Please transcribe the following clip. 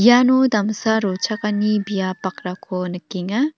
iano damsa rochakani biap bakrako nikenga.